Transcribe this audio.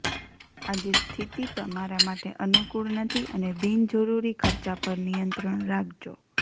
આજે સ્થિતિ તમારા માટે અનુકૂળ નથી અને બિનજરૂરી ખર્ચા પર નિયંત્રણ રાખજો